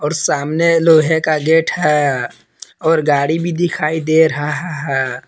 और सामने लोहे का गेट है और गाड़ी भी दिखाई दे रहा है।